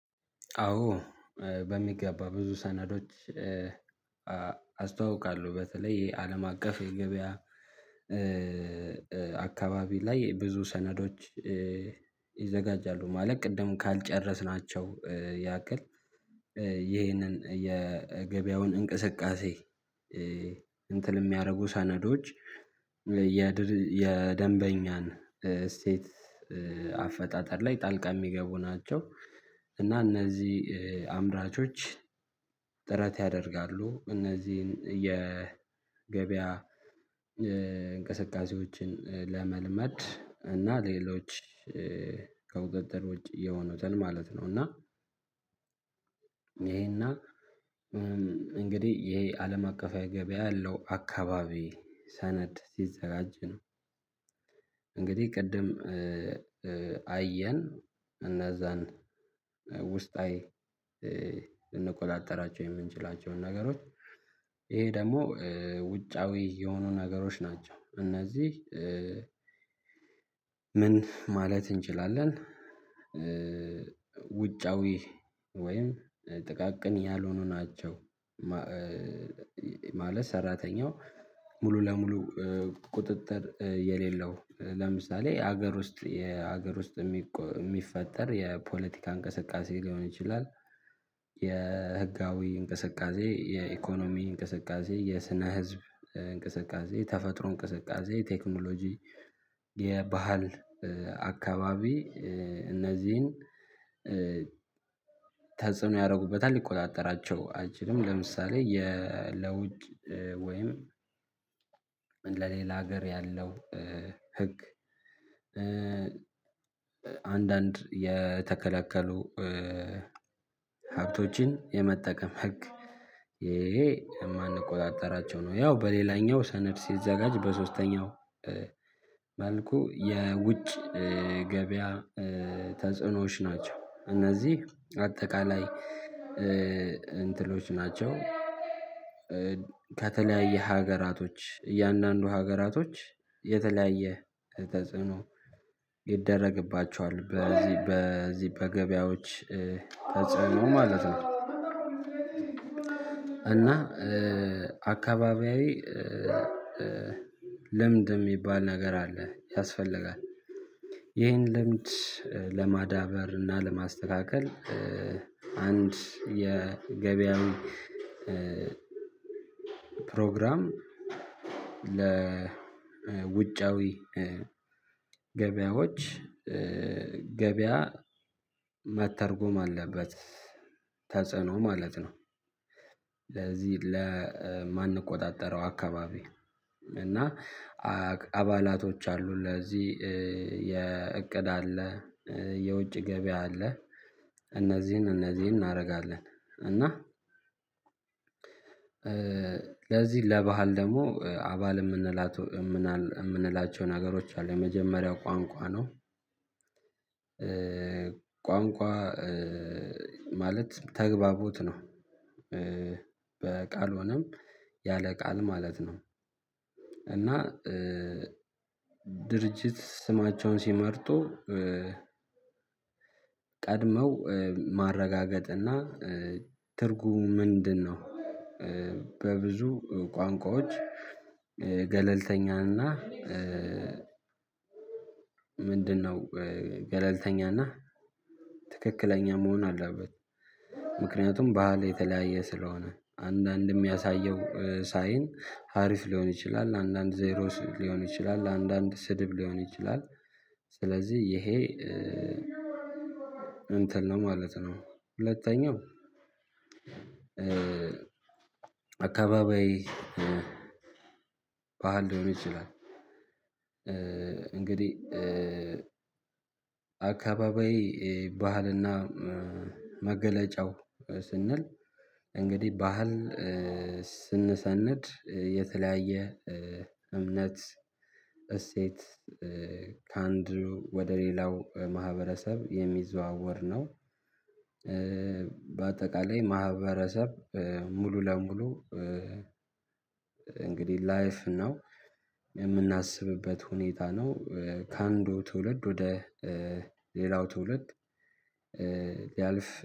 አዎ በሚገባ ብዙ ሰነዶች አስተዋውቃለሁ በተለይ የአለም አቀፍ የገበያ አካባቢ ላይ ብዙ ሰነዶች ይዘጋጃሉ ማለት ቅድም ካልጨረስናቸው ያክል ይሄንን የገበያውን እንቅስቃሴ እንትን የሚያደርጉ ሰነዶች የደንበኛን ስቴት አፈጣጠር ላይ ጣልቃ የሚገቡ ናቸው። እና እነዚህ አምራቾች ጥረት ያደርጋሉ እነዚህን የገበያ እንቅስቃሴዎችን ለመልመድ እና ሌሎች ከቁጥጥር ውጭ የሆኑትን ማለት ነው እና ይሄና እንግዲህ ይሄ አለም አቀፋዊ ገበያ ያለው አካባቢ ሰነድ ሲዘራጅ ነው። እንግዲህ ቅድም አየን እነዛን ውስጣዊ ልንቆጣጠራቸው የምንችላቸውን ነገሮች ይሄ ደግሞ ውጫዊ የሆኑ ነገሮች ናቸው። እነዚህ ምን ማለት እንችላለን ውጫዊ ወይም ጥቃቅን ያልሆኑ ናቸው። ማለት ሰራተኛው ሙሉ ለሙሉ ቁጥጥር የሌለው ለምሳሌ ሀገር ውስጥ የሀገር ውስጥ የሚፈጠር የፖለቲካ እንቅስቃሴ ሊሆን ይችላል። የህጋዊ እንቅስቃሴ የኢኮኖሚ እንቅስቃሴ የስነ ህዝብ እንቅስቃሴ ተፈጥሮ እንቅስቃሴ የቴክኖሎጂ የባህል አካባቢ እነዚህን ተጽዕኖ ያደርጉበታል ሊቆጣጠራቸው አይችልም ለምሳሌ የ ለውጭ ወይም ለሌላ ሀገር ያለው ህግ አንዳንድ የተከለከሉ ሀብቶችን የመጠቀም ህግ የማንቆጣጠራቸው ነው። ያው በሌላኛው ሰነድ ሲዘጋጅ በሶስተኛው መልኩ የውጭ ገበያ ተጽዕኖዎች ናቸው እነዚህ አጠቃላይ እንትሎች ናቸው ከተለያየ ሀገራቶች እያንዳንዱ ሀገራቶች የተለያየ ተጽዕኖ ይደረግባቸዋል በዚህ በዚህ በገበያዎች ተጽዕኖ ማለት ነው። እና አካባቢያዊ ልምድ የሚባል ነገር አለ ያስፈልጋል። ይህን ልምድ ለማዳበር እና ለማስተካከል አንድ የገበያው ፕሮግራም ለውጫዊ ገበያዎች ገበያ መተርጎም አለበት ተጽዕኖ ማለት ነው። ለዚህ ለማንቆጣጠረው አካባቢ እና አባላቶች አሉ ለዚህ የእቅድ አለ የውጭ ገበያ አለ። እነዚህን እነዚህን እናደርጋለን እና ለዚህ ለባህል ደግሞ አባል የምንላቸው የምንላቸው ነገሮች አሉ የመጀመሪያው ቋንቋ ነው። ቋንቋ ማለት ተግባቡት ነው። በቃል ሆነም ያለ ቃል ማለት ነው። እና ድርጅት ስማቸውን ሲመርጡ ቀድመው ማረጋገጥ እና ትርጉሙ ምንድነው? በብዙ ቋንቋዎች ገለልተኛና ምንድነው ገለልተኛና ትክክለኛ መሆን አለበት። ምክንያቱም ባህል የተለያየ ስለሆነ አንዳንድም ያሳየው ሳይን አሪፍ ሊሆን ይችላል አንዳንድ ዜሮ ሊሆን ይችላል አንዳንድ ስድብ ሊሆን ይችላል። ስለዚህ ይሄ እንትን ነው ማለት ነው። ሁለተኛው አካባቢ ባህል ደግሞ ይችላል እንግዲህ አካባቢያዊ ባህልና መገለጫው ስንል እንግዲህ ባህል ስንሰነድ የተለያየ የእምነት እሴት ከአንድ ወደ ሌላው ማህበረሰብ የሚዘዋወር ነው። በአጠቃላይ ማህበረሰብ ሙሉ ለሙሉ እንግዲህ ላይፍ ነው የምናስብበት ሁኔታ ነው። ከአንዱ ትውልድ ወደ ሌላው ትውልድ ያልፍ